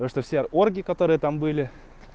просто все орги которые там были